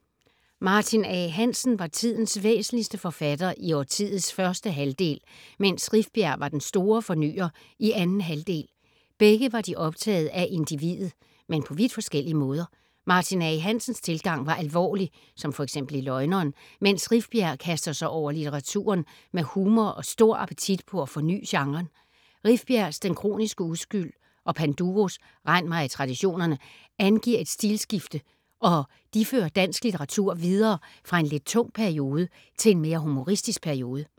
Martin A. Hansen var tidens væsentligste forfatter i årtiets første halvdel, mens Rifbjerg var den store fornyer i anden halvdel. Begge var de optaget af individet, men på vidt forskellige måder. Martin A. Hansens tilgang var alvorlig, som f.eks. i Løgneren, mens Rifbjerg kaster sig over litteraturen med humor og stor appetit på at forny genren. Rifbjergs Den kroniske uskyld og Panduros Rend mig i traditionerne angiver et stilskifte og de fører dansk litteratur videre fra en lidt tung periode til en mere humoristisk periode.